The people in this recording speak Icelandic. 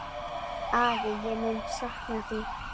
Afi, ég mun sakna þín.